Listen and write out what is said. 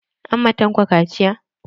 An ma Tanko kaciya?